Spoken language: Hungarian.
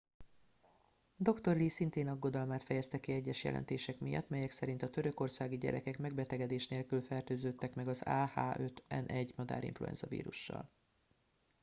dr. lee szintén aggodalmát fejezte ki egyes jelentések miatt melyek szerint a törökországi gyerekek megbetegedés nélkül fertőződtek meg az ah 5 n 1 madárinfluenza vírussal